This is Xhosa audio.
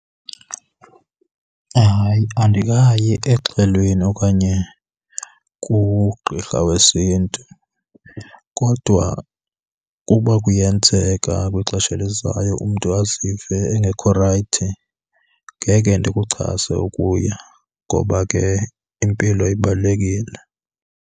Hayi, andikayi exhweleni okanye kugqirha wesiNtu. Kodwa ukuba kuyenzeka kwixesha elizayo umntu azive engekho rayithi ngeke ndikuchase ukuya ngoba ke impilo ibalulekile.